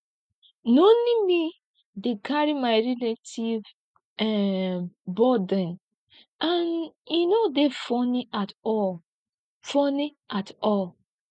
na only me dey carry my relatives um burden and e no dey funny at all funny at all